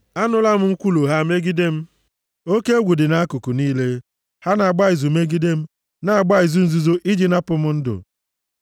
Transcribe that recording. Anụla m nkwulu ha megide m; oke egwu dị nʼakụkụ niile; ha na-agba izu megide m, na-agba izu nzuzo iji napụ m ndụ m.